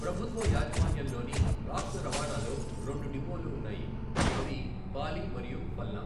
ప్రభుత్వ యాజమాన్యంలోని రాష్ట్ర రవాణాలో రెండు డిపోలు ఉన్నాయి, అవి పాలి మరియు ఫల్నా.